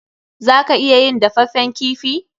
Za ka iya yin dafaffen kifi.